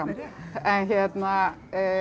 en hérna